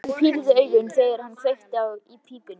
Hann pírði augun, þegar hann kveikti í pípunni.